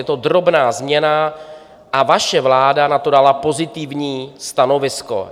Je to drobná změna a vaše vláda na to dala pozitivní stanovisko.